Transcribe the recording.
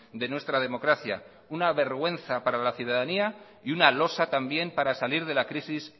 de nuestra democracia una vergüenza para la ciudadanía y una losa también para salir de la crisis